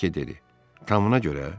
Madam Voke dedi: “Tamına görə?